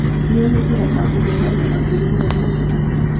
Nĩũĩ njĩra ta kũhũrana na mĩrimũ ya mĩmera.